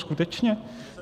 Skutečně?